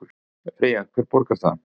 Freyja: Hver borgar það?